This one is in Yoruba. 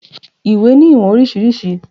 Iwé ni iwọn oriṣiriṣi